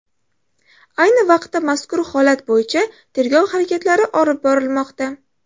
Ayni vaqtda mazkur holat bo‘yicha tergov harakatlari olib borilmoqda.